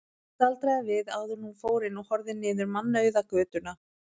Hún staldraði við áður en hún fór inn og horfði niður mannauða götuna.